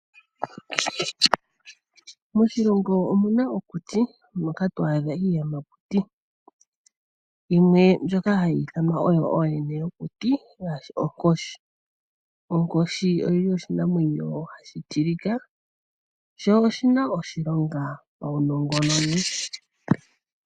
Moshilongo omuna okuti, moka to a dhika iiyamakuti, yimwe mbyoka hayi I thanwa ooyene yokuti ngaashi onkoshi. Onkoshi oyili oshinamwenyo hashi tilika sho oshina oshilonga paunongononi.